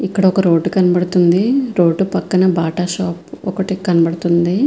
ఇక్కడ ఒక రోడ్ కనబడుతూవుంది రోడ్ పక్కన బాట షాప్ ఒకటి కనబడుతూ వుంది.